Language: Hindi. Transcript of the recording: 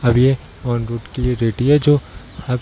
अब ये ओन रोड के लिए रेडी है जो अब --